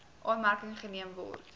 aanmerking geneem word